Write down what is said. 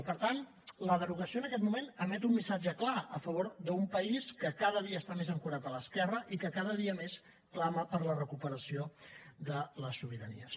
i per tant la derogació en aquest moment emet un missatge clar a favor d’un país que cada dia està més ancorat a l’esquerra i que cada dia més clama per la recuperació de les sobiranies